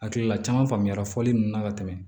Hakilila caman faamuyara fɔli nunnu na ka tɛmɛ